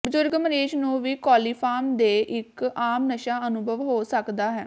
ਬਜ਼ੁਰਗ ਮਰੀਜ਼ ਨੂੰ ਵੀ ਕੋਲੀਫਾਰਮ ਦੇ ਇੱਕ ਆਮ ਨਸ਼ਾ ਅਨੁਭਵ ਹੋ ਸਕਦਾ ਹੈ